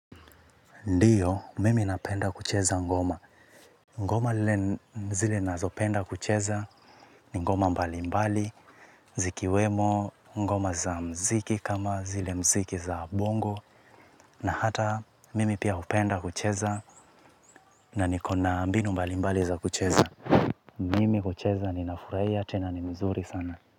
Ndiyo, mimi napenda kucheza ngoma. Ngoma lile zile ninazopenda kucheza ni ngoma mbalimbali, zikiwemo ngoma za muziki kama zile muziki za bongo na hata mimi pia hupenda kucheza na niko na mbinu mbalimbali za kucheza. Mimi hucheza ninafurahia tena ni mzuri sana.